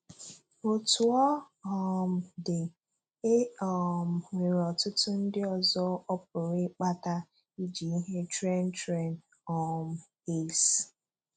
Otú ọ um dị, e um nwere ọ̀tùtụ̀ ndị ọzọ ọ pụrụ ịkpàtà iji ihe Tren Tren um Ace.